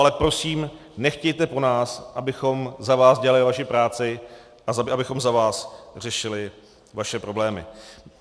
Ale prosím, nechtějte po nás, abychom za vás dělali vaši práci a abychom za vás řešili vaše problémy.